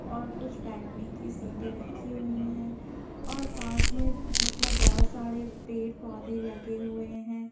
और कुछ बैठने की सीटें रखी हुई हैं और पास में मतलब बहुत सारे पेड़-पौधे लगे हुए हैं।